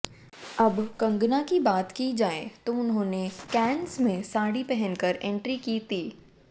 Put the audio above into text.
अब कंगना की बात की जाएं तो उन्होंने कांस में साड़ी पहनकर एंट्री की ती